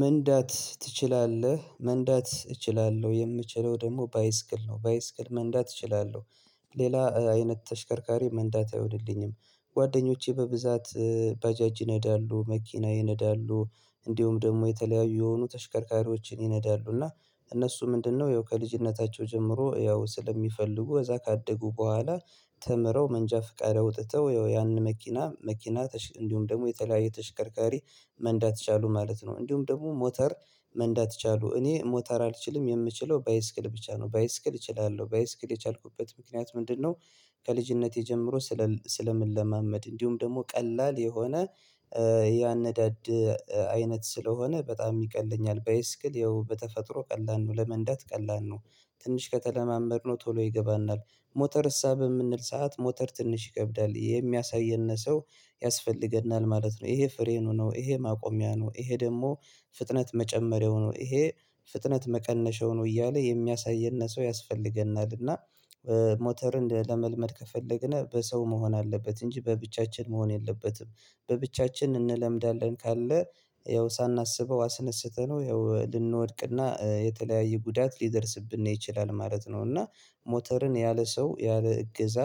መንዳት ትችላለህ? መንዳት እችላለሁ የምችለው ደግሞ ባይስክል ነው ባይስክል መንዳት እችላለሁ ሌላ አይነት ተሽከርካሪ መንዳት አይሆንልኝም ጓደኞቼ በብዛት ባጃጅ ይነዳሉ መኪና ይነዳሉ እንዲሁም ደግሞ የተለያዩ የሆኑ ተሽከርካሪዎችን ይነዳሉ እና እነሱ ምንድነው ያው ከልጅነታቸው ጀምሮ ያው ስለሚፈልጉ እዛ ካደጉ በኋላ ተምረው መንጃ ፍቃድ አዉጥተው ያው ያንን መኪና እንዲሁም ደግሞ የተለያየ ተሽከርካሪ መንዳት ቻሉ ማለት ነው እንዲሁም ደግሞ ሞተር መንዳት ቻሉ እኔ ሞተር አልችልም የምችለው ባይስክል ብቻ ነው ባይስክል እችላለሁ ባይስክል የቻልኩበት ምክንያት ምንድነው ከልጅነቴ ጀምሮ ስለምለማመድ እንዲሁም ደግሞ ቀላል የሆነ ያነዳድ አይነት ስለሆነ በጣም ይቀለኛል ባይስክል ያው በተፈጥሮ ቀላል ነው ለመንዳት ቀላል ነው ትንሽ ከተለማመድነው ቶሎ ይገባናል ሞተር እሳ በምንል ሰዓት ሞተር ትንሽ ይከብዳል የሚያሳየን ሰው ያስፈልገናል ማለት ነው ይሄ ፍሬኑ ነው ይሄ ማቆሚያ ነው ይሄ ደግሞ ፍጥነት መጨመሪያው ነው ይሄ ፍጥነት መቀነሻ ነው እያለ የሚያሳየን ሰው ያስፈልገናልና ሞተርን ለመልመድ ከፈለግን በሰው መሆን አለበት እንጂ በብቻችን መሆን የለበትም በብቻችን እንለምዳለን ካልነ ያው ሳናስበው አስነስተነው ያው ልንወድቅና የተለያየ ጉዳት ሊደርስብን ነው ይችላል ማለት ነው እና ሞተርን ያለ ሰው ያለ እገዛ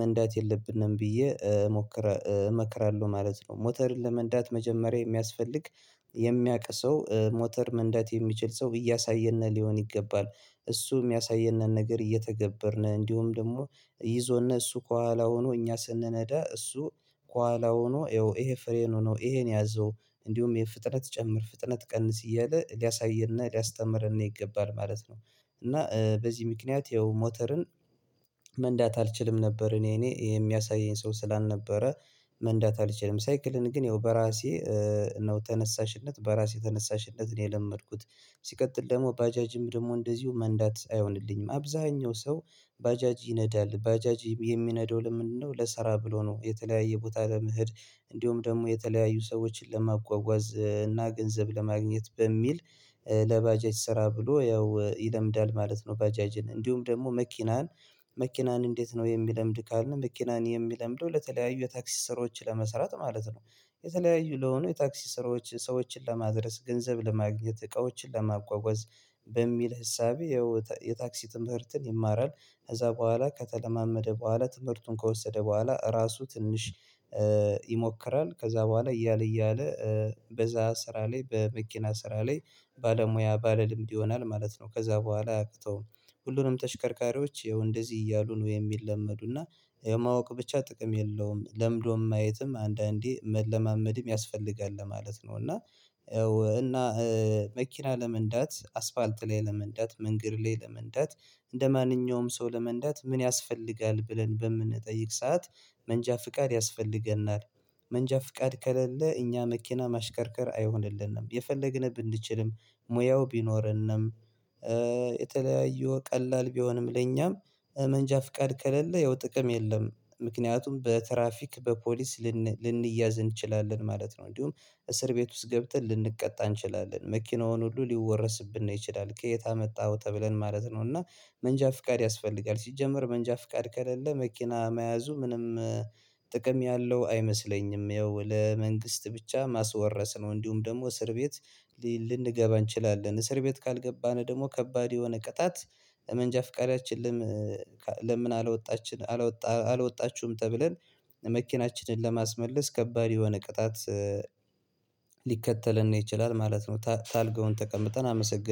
መንዳት የለብንም ብዬ እመክራለሁ ማለት ነው ሞተርን ለመንዳት መጀመሪያ የሚያስፈልግ የሚያቅ ሰው ሞተር መንዳት የሚችል ሰው እያሳየን ሊሆን ይገባል እሱ የሚያሳየንን ነገር እየተገበርን እንዲሁም ደግሞ ይዞን እሱ ከኋላ ሆኖ እኛ ስንነዳ እሱ ከኋላ ሆኖ ያው ይሄ ፍሬኑ ነው ይሄን ያዘው እንዲሁም ፍጥነት ጨምር ፍጥነት ቀንስ እያለ ሊያሳይና ሊያስተምርን ይገባል ማለት ነው እና በዚህ ምክንያት ይኸው ሞተርን መንዳት አልችልም ነበር እኔ የሚያሳየኝ ሰው ስላልነበረ መንዳት አልችልም ሳይክልን ግን ያው በራሴ ነው ተነሳሽነት በራሴ ተነሳሽነት ነው የለመድኩት ሲቀጥል ደግሞ ባጃጅም ደግሞ እንደዚሁ መንዳት አይሆንልኝም አብዛኛው ሰው ባጃጅ ይነዳል ባጃጅ የሚነዳው ለምንድነው ለስራ ብሎ ነው የተለያየ ቦታ ለመሄድ እንዲሁም ደግሞ የተለያዩ ሰዎችን ለማጓጓዝ እና ገንዘብ ለማግኘት በሚል ለባጃጅ ስራ ብሎ ያው ይለምዳል ማለት ነው ባጃጅን እንዲሁም ደግሞ መኪናን መኪናን እንዴት ነው የሚለምድ ካልን መኪናን የሚለምደው ለተለያዩ የታክሲ ስራወችን ለመሰራት ማለት ነው የተለያዩ ለሆኑ የታክሲ ስራዎች ሰዎችን ለማድረስ ገንዘብ ለማግኘት እቃዎችን ለማጓጓዝ በሚል እሳቤ የታክሲ ትምህርትን ይማራል ከዛ በኋላ ከተለማመደ በኋላ ትምህርቱን ከወሰደ በኋላ ራሱ ትንሽ ይሞክራል ከዛ በኋላ እያለ እያለ በዛ ስራ ላይ በመኪና ስራ ላይ ባለሙያ ባለ ልምድ ይሆናል ማለት ነው ከዛ በኋላ አያቅተውም ሁሉንም ተሽከርካሪዎች ይኸው እንደዚህ እያሉ ነው የሚለመዱ እና የማወቅ ብቻ ጥቅም የለውም ለምዶም ማየትም አንዳንዴ መለማመድም ያስፈልጋል ለማለት ነው እና እና መኪና ለመንዳት አስፋልት ላይ ለመንዳት መንገድ ላይ ለመንዳት እንደማንኛውም ሰው ለመንዳት ምን ያስፈልጋል ብለን በምንጠይቅ ሰዓት መንጃ ፍቃድ ያስፈልገናል መንጃ ፍቃድ ከሌለ እኛ መኪና ማሽከርከር አይሆንልንም የፈለግን ብንችልም ሙያው ቢኖረንም የተለያዩ ቀላል ቢሆንም ለኛም መንጃ ፍቃድ ከሌለ ያው ጥቅም የለም ምክንያቱም በትራፊክ በፖሊስ ልንያዝ እንችላለን ማለት ነው እንዲሁም እስር ቤት ውስጥ ገብተን ልንቀጣ እንችላለን መኪናውን ሁሉ ሊወረስብን ይችላል ከየት አመጣኸው ተብለን ማለት ነው እና መንጃ ፍቃድ ያስፈልጋል ሲጀመር መንጃ ፍቃድ ከሌለ መኪና መያዙ ምንም ጥቅም ያለው አይመስለኝም ያው ለመንግስት ብቻ ማስወረስ ነው እንዲሁም ደግሞ እስር ቤት ልንገባ እንችላለን እስር ቤት ካልገባን ደግሞ ከባድ የሆነ ቅጣት መንጃ ፍቃዳችን ለምን አላወጣችሁም ተብለን መኪናችንን ለማስመለስ ከባድ የሆነ ቅጣት ሊከተልን ይችላል ማለት ነው ታርጋውን ተቀምተን አመሰግን